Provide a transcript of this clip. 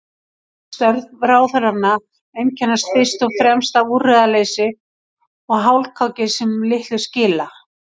Störf ráðherranna einkennast fyrst og fremst af úrræðaleysi og hálfkáki sem litlu skila.